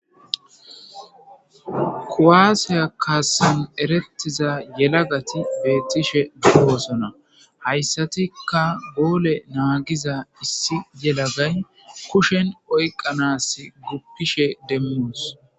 kuwaasiya kaassan erettiza yelagati beettishe demmosona hayssatika goole naagiza issi yelagay kushen oyqanas guppishe demmos